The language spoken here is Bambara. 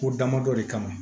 Ko damadɔ de kama